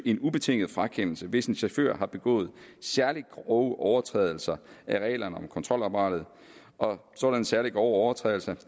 en ubetinget frakendelse hvis en chauffør har begået særlig grove overtrædelser af reglerne om kontrolapparatet og sådanne særlig grove overtrædelser